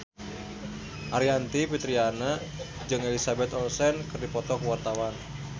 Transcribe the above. Aryani Fitriana jeung Elizabeth Olsen keur dipoto ku wartawan